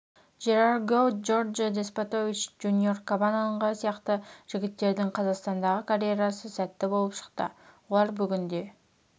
жерар гоу джорджио деспотович джуниор кабананга сияқты жігіттердің қазақстандағы карьерасы сәтті болып шықты олар бүгінде